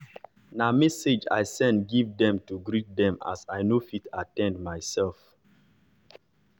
na message i send give dem to greet dem as i nor fit at ten d myself